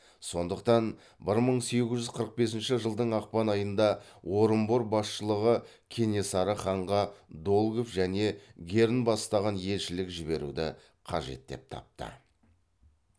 сондықтан бір мың сегіз жүз қырық бесінші жылдың ақпан айында орынбор басшылығы кенесары ханға долгов және герн бастаған елшілік жіберуді қажет деп тапты